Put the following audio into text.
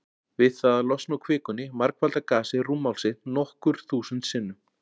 Við það að losna úr kvikunni margfaldar gasið rúmmál sitt nokkur þúsund sinnum.